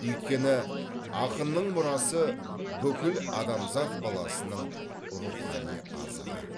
өйткені ақынның мұрасы бүкіл адамзат баласының рухани азығы